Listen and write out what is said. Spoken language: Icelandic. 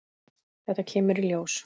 Þetta kemur í ljós!